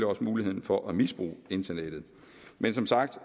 også muligheden for at misbruge internettet men som sagt